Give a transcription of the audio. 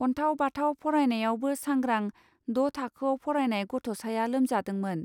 अनथाव बाथाव फरायनायावबो सांग्रां ड' थाखोआव फरायनाय गथ'साया लोमजादोंमोन.